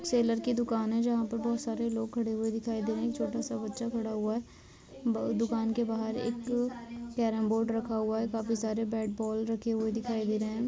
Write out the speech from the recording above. Seller की दुकान है जहाँ पे बहोत सारे लोग खड़े हुए दिखाई दे रहे हैं। एक छोटा सा बच्चा खड़ा हुआ है। बहू दुकान के बाहर एक कैरम बोर्ड रखा हुआ है। काफी सारे बैट बॉल रखे हुए दिखाई दे रहे हैं।